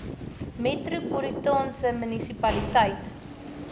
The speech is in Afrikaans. metropolitaanse munisipaliteit